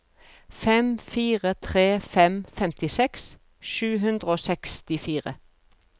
fem fire tre fem femtiseks sju hundre og sekstifire